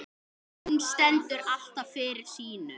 Hún stendur alltaf fyrir sínu.